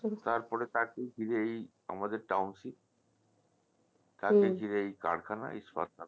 তারপরে তাকে ঘিরে এই আমাদের township তাকে ঘিরেই এই কারখানা এই সরকার